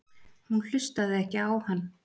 Hún hlustaði ekki á hann.